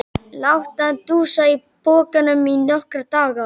Láta hann dúsa í pokanum í nokkra daga!